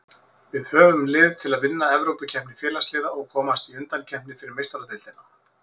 Við höfum lið til að vinna Evrópukeppni Félagsliða og komast í undankeppni fyrir Meistaradeildina.